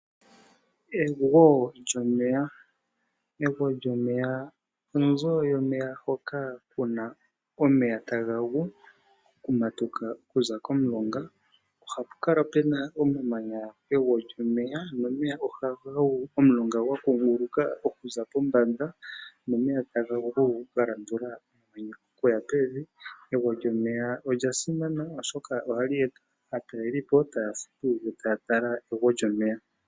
Egwo lyomeya Egwo lyomeya onzo yomeya hoka ku na omeya taga gu, okumatuka okuza komulonga. Ohapu kala pu na omamanya pegwo lyomeya nomeya ohaga gu omulonga gwakunguuka okuza pombanda nomeya taga gu okuya pevi. Ogwo lyomeya olya simana, ohali eta aatalelipo taya futu yo taya tala egwo lyomeya.